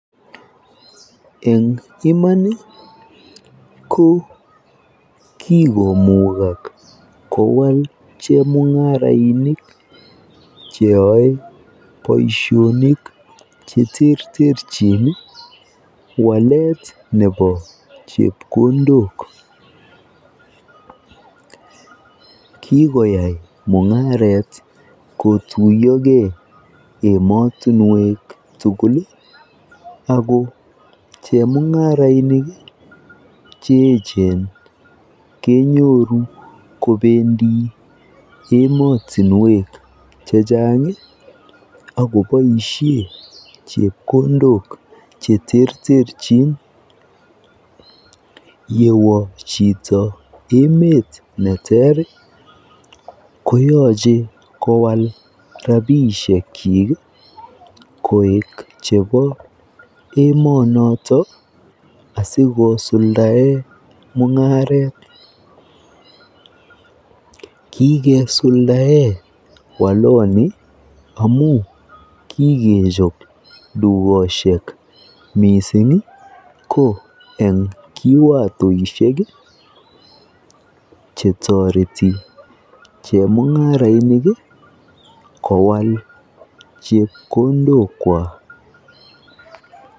Eng iman ko kikomukak kowal chemung'arainik cheyoe boisionik cheterterchin walet nebo chepkondok kikoyai mung'aret kotuiyoge emotinwek tugul ii ako chemung'arainik che echen kenyoru kobendi emotinwek chechang akoboisien chepkondok cheterterchin yewo chito emet neter ii koyoche kowal rapisiekyik koik chepo emonoton asikosuldaen mung'aret kikesuldaen walani amun kikechop dukosiek missing ii ko eng kiwatoisiek chetoreti chemung'arainik kowal chepkondokwak.